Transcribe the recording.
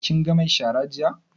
Kin ga mai shara jiya?